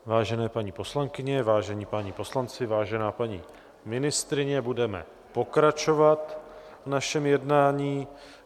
Vážené paní poslankyně, vážení páni poslanci, vážená paní ministryně, budeme pokračovat v našem jednání.